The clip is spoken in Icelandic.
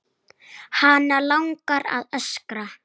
Hana langar að öskra.